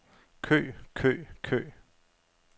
kø kø kø